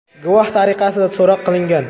guvoh tariqasida so‘roq qilingan.